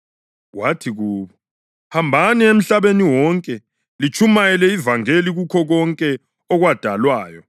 Wathi kubo, “Hambani emhlabeni wonke litshumayele ivangeli kukho konke okwadalwayo.